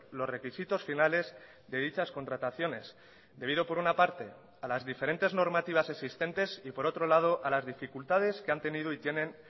los requisitos finales de dichas contrataciones debido por una parte a las diferentes normativas existentes y por otro lado a las dificultades que han tenido y tienen